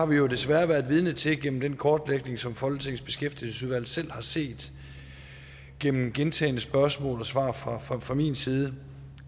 vi jo desværre været vidne til gennem den kortlægning som folketingets beskæftigelsesudvalg selv har set gennem gentagne spørgsmål og svar fra min side